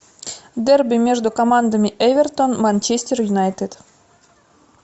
дерби между командами эвертон манчестер юнайтед